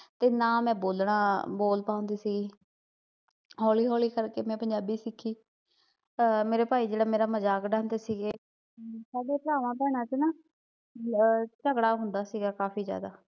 ਤੇ ਨਾ ਮੈਂ ਬੋਲਣਾ, ਬੋਲ ਪਾਉਂਦੀ ਸੀਗੀ ਹੌਲੀ-ਹੌਲੀ ਕਰਕੇ ਮੈਂ ਪੰਜਾਬੀ ਸਿੱਖੀ ਆ ਮੇਰੇ ਭਾਈ ਜਿਹੜਾ ਮੇਰਾ ਮਜ਼ਾਕ ਉਡਾਉਂਦੇ ਸੀਗੇ ਪਹਿਲੇ ਭਰਾਵਾਂ ਭੈਣਾਂ ਚ ਨਾ ਆ ਝਗੜਾ ਹੁੰਦਾ ਸੀਗਾ ਕਾਫੀ ਜਿਆਦਾ